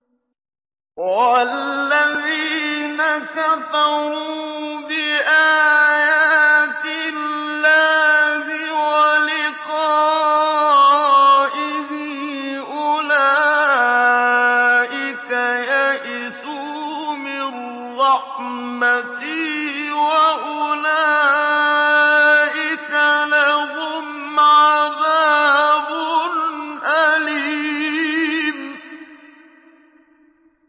وَالَّذِينَ كَفَرُوا بِآيَاتِ اللَّهِ وَلِقَائِهِ أُولَٰئِكَ يَئِسُوا مِن رَّحْمَتِي وَأُولَٰئِكَ لَهُمْ عَذَابٌ أَلِيمٌ